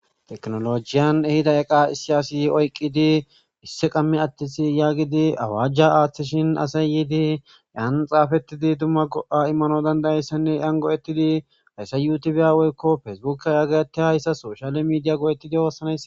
tekinolojiyan ehida eqa issiyasi oyqqidi isse qammi attisi yaagidi awaajja aaththishin asay yiidi yaan xaafettidi dumma go7a immano dandayayssanne yan go7ettidi hayssa yuutibiyawoykko fesebuka yaagatte hayssa soshale miidiya goo7etidi oossanaysa